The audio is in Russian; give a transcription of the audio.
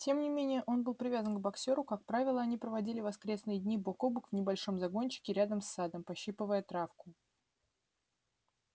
тем не менее он был привязан к боксёру как правило они проводили воскресные дни бок о бок в небольшом загончике рядом с садом пощипывая травку